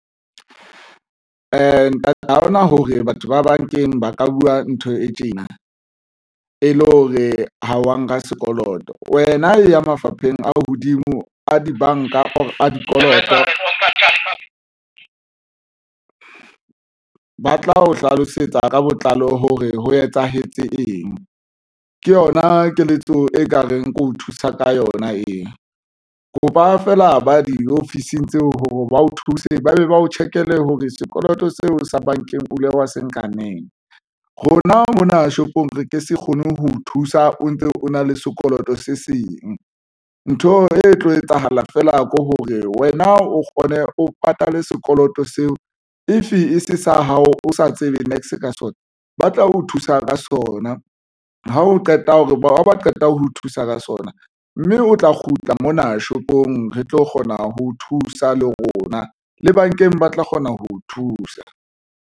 Ntate haona hore batho ba bankeng ba ka buwa ntho e tjena e le hore ha wa nka sekoloto, wena e ya mafapheng a hodimo a dibanka or a dikoloto, ba tla o hlalosetsa ka botlalo hore ho etsahetse eng ke yona keletso e ka reng ke o thusa ka yona eo kopa fela ba di-office-ng tseo hore ba o thuse ba be ba o check-le hore seo poloto seo sa bankeng o ile wa se nkaneng rona mona shopong re ke se kgone ho o thusa o ntse o na le sekoloto se seng. Ntho e tlo etsahala fela ke hore wena o kgone o patale sekoloto seo. If e se hao o sa tsebe niks ka sona, ba tla o thusa ka sona ha o qeta hore ba ba qeta ho o thusa ka sona mme o tla kgutla mona shopong. Re tlo kgona ho thusa le rona le bankeng ba tla kgona ho o thusa.